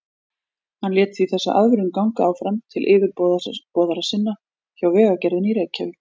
Hann lét því þessa aðvörun ganga áfram til yfirboðara sinna hjá Vegagerðinni í Reykjavík.